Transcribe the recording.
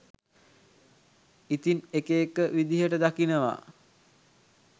ඉතිං එක එක විදිහට දකිනවා.